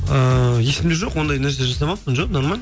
ыыы есімде жоқ ондай нәрсе жасамаппын жоқ нормально